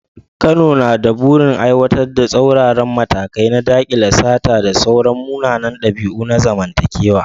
Kano na da burin aiwatar da tsauraran matakai na dakile sata da sauran munanan dabi’u na zamantakewa.